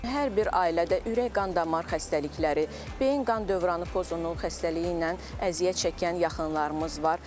Hər bir ailədə ürək-qan damar xəstəlikləri, beyin qan dövranı pozunluğu xəstəliyi ilə əziyyət çəkən yaxınlarımız var.